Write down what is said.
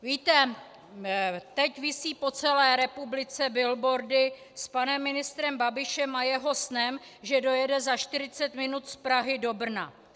Víte, teď visí po celé republice billboardy s panem ministrem Babišem a jeho snem, že dojede za 40 minut z Prahy do Brna.